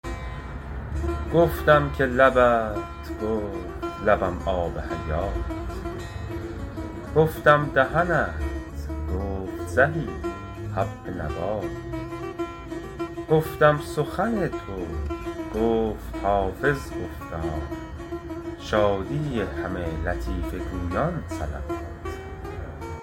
گفتم که لبت گفت لبم آب حیات گفتم دهنت گفت زهی حب نبات گفتم سخن تو گفت حافظ گفتا شادی همه لطیفه گویان صلوات